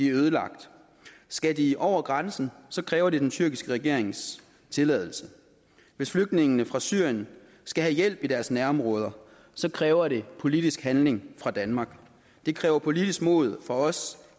ødelagt skal de over grænsen kræver det den tyrkiske regerings tilladelse hvis flygtningene fra syrien skal have hjælp i deres nærområder kræver det politisk handling fra danmark det kræver politisk mod fra os